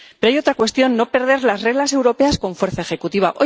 Pero hay otra cuestión no perder las reglas europeas con fuerza ejecutiva.